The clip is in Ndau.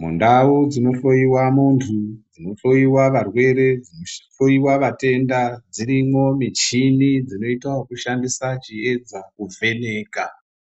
Mundau dzinohloyiwa muntu, dzinohloyiwa varwere, dzinohloyiwa vatenda, dzirimwo michini dzinoita wokushandisa chiedza kuvheneka,